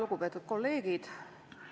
Lugupeetud kolleegid!